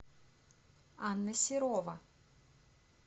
анна серова